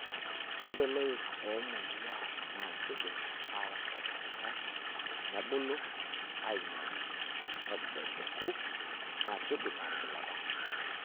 Ore loik oomoyiaa na keidim aatasapukita, nebulu ainyalaki, nebebeku naa keidim aatigilata.